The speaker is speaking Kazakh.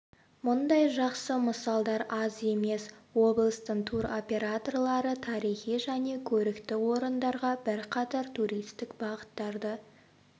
мұндай жақсы мысалдар аз емес облыстың тур операторлары тарихи және көрікті орындарға бірқатар туристік бағыттарды